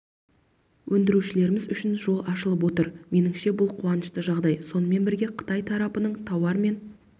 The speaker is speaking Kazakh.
өндірушілеріміз үшін жол ашылып отыр меніңше бұл қуанышты жағдай сонымен бірге қытай тарапының тауар мен